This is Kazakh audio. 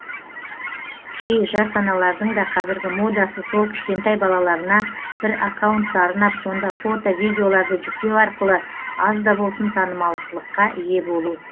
кей жас аналардың да қазіргі модасы сол кішкентай балаларына бір аккаунтты арнап сонда фото видеоларды жүктеу арқылы аз да болсын танымалдылыққа ие болу